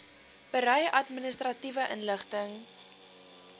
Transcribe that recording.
berei administratiewe inligting